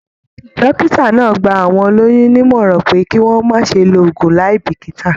Dókítà náà gbà àwọn olóyún nímọ̀ràn pé kí wọn má ṣe lo oògùn láì bikita.